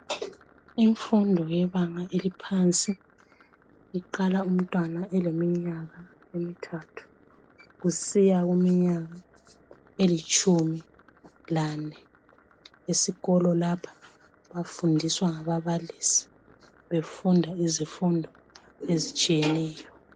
Imfundo yebanga eliphansi iqala umntwana eliminyaka emithathu kusiya kuminyaka elitshumi lanhlanu esikolo lapha bafundiswa ngababalisi befunda izifundo ezitshiyeneyo